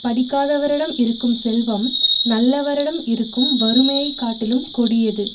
படிக்காதவரிடம் இருக்கும் செல்வம் நல்லவரிடம் இருக்கும் வறுமையை காட்டிலும் கொடியது